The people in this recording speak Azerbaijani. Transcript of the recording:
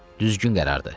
Düzgün qərardır.